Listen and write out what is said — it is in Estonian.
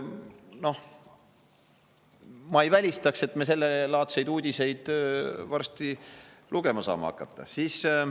Noh, ma ei välistaks, et me sellelaadseid uudiseid varsti lugema saame hakata.